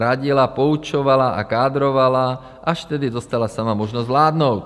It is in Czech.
Radila, poučovala a kádrovala, až tedy dostala sama možnost vládnout.